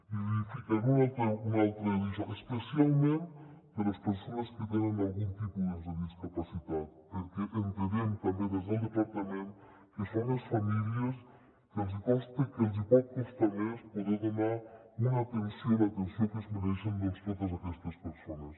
i li ficaré un altre daixò especialment a les persones que tenen algun tipus de discapacitat perquè entenem també des del departament que són les famílies que els hi pot costar més poder donar una atenció l’atenció que es mereixen doncs a totes aquestes persones